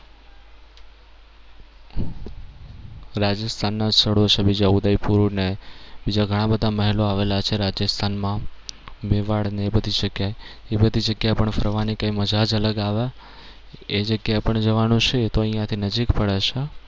રાજસ્થાનના સ્થળો છે બીજા ઉદયપુર, બીજા ઘણા બધા મહેલો આવેલા છે રાજસ્થાનમાં મેવાડ અને એ બધી જગ્યાએ. એ બધી જગ્યા એ ફરવાની મજા જ અલગ આવે. એ જગ્યાએ પણ જવાનું છે. એ અહિયાંથી નજીક પણ પડે છે.